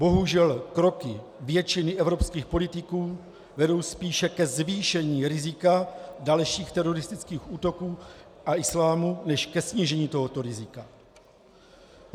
Bohužel kroky většiny evropských politiků vedou spíše ke zvýšení rizika dalších teroristických útoků a islámu než ke snížení tohoto rizika.